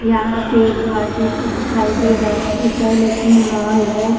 यहाँ पे घर जैसा दिखाई दे रहाहै लेकिन ये मॉल है ।